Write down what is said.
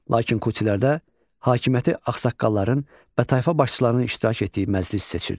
Lakin Qutilərdə hakimiyyəti ağsaqqalların və tayfa başçılarının iştirak etdiyi məclis seçirdi.